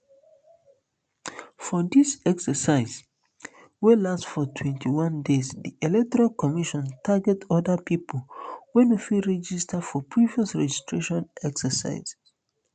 for di exercise wey last for twenty-one days di electoral commission target oda pipo wey no fit register for previous registration exercises